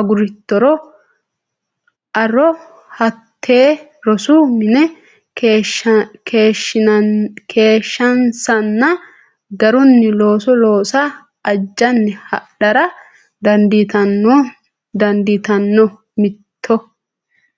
agurittoro a ro hatte rosu mine keeshshansanna garunni looso loosa ajjanni hadhara dandiitanno Mitto.